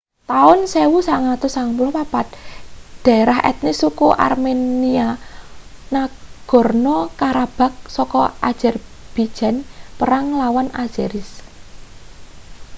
taun 1994 daerah etnis suku armenia nagorno-karabakh saka azerbijan perang nglawan azeris